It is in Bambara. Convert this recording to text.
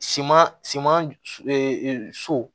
Siman siman so